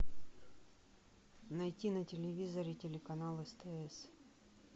найти на телевизоре телеканал стс